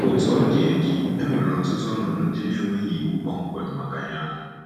Otú ọ dị, e dị, e nwere ọtụtụ ọnọdụ ndị na-enweghị iwu kpọmkwem maka ya.